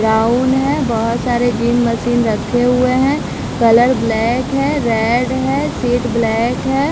Brown है बहुत सारे जिम मशीन रखे हुए है कलर ब्लैक है रेड है सीट ब्लैक है।